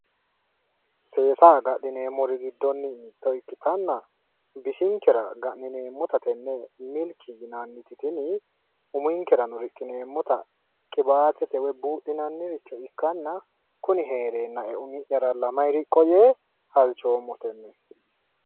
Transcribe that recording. Seesa agadhineemmori giddonni mitto ikkatanna, bisinkera ga'nineemmota tenne milki yinanniti tini uminkerano riqineemmota qibaatete woyi buudhinanniricho ikkanna, kuni heereennae umi'yaralla mayi riqqo yee halchoommo tenne.